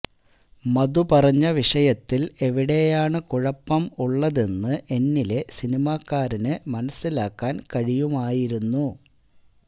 മധു പറഞ്ഞ വിഷയത്തിൽ എവിടെയാണ് കുഴപ്പം ഉള്ളതെന്ന് എന്നിലെ സിനിമാക്കാരനു മനസ്സിലാക്കാൻ കഴിയുമായിരുന്നു